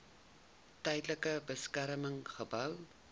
tydelike beskerming gehou